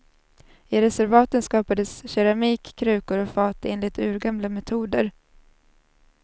I reservaten skapades keramik, krukor och fat enligt urgamla metoder.